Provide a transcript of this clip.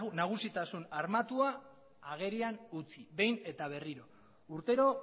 nagusitasun armatua agerian utzi behin eta berriro urtero